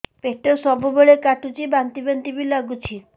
ପେଟ ସବୁବେଳେ କାଟୁଚି ବାନ୍ତି ବାନ୍ତି ବି ଲାଗୁଛି